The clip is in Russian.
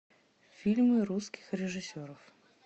фильмы русских режиссеров